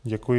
Děkuji.